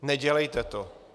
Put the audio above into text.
Nedělejte to.